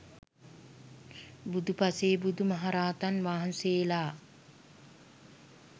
බුදු පසේ බුදු මහරහතන් වහන්සේලා